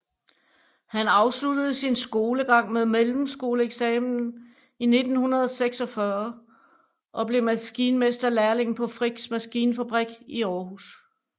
Han afsluttede sin skolegang med mellemskoleeksamen i 1946 og blev maskinmesterlærling på Frichs Maskinfabrik i Aarhus